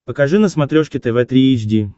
покажи на смотрешке тв три эйч ди